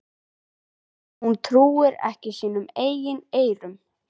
Hún trúir ekki sínum eigin eyrum.